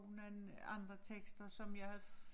Nogle andre tekster som jeg havde